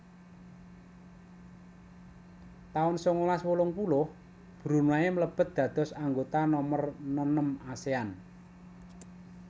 taun sangalas wolung puluh Brunei mlebet dados anggota nomer nenem Asean